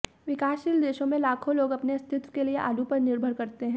विकासशील देशों में लाखों लोग अपने अस्तित्व के लिए आलू पर निर्भर करते हैं